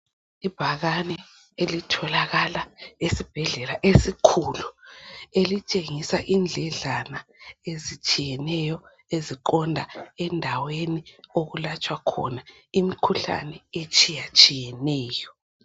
Ibhakane elitholakala esibhedlela esikhulu elitshengisa indledlana ezitshiyeneyo eziqonda endaweni okulatshwa khona imikhuhlane etshiyeneyo